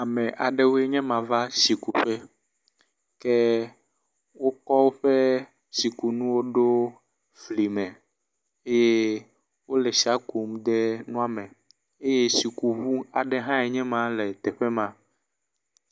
Ame aɖewoe nye ma va tsi kuƒe ke wokɔ woƒe tsikunuwo ɖo fli me eye wo le tsia kum de nua me eye tsikuŋu aɖe hãe nye ma le teƒe ma.